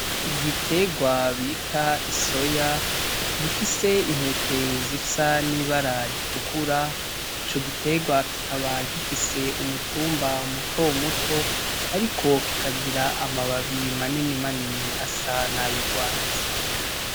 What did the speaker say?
Igiterwa bita isoya, gifise intete zisa n'ibara r'itukura ico giterwa kikaba gifise umutumba muto muto ariko kikagira amababi manini manini asa nay'urwatsi.